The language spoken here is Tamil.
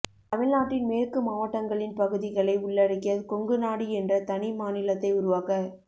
தமிழ்நாட்டின் மேற்கு மாவட்டங்களின் பகுதிகளை உள்ளடக்கிய கொங்குநாடு என்ற தனி மாநிலத்தை உருவாக்க